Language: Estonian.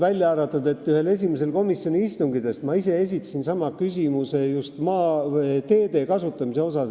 Välja arvatud see, et ühel esimestest komisjoni istungitest ma esitasin ise sama küsimuse teede kasutamise kohta.